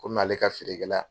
Kɔmi ale ka feere kɛla